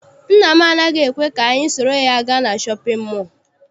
Nna m anaghị ekwe ka anyị soro ya gaa na shọpịn mọọ.